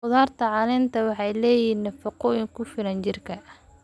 Khudradda caleenta waxay leeyihiin nafaqooyin ku filan jirka.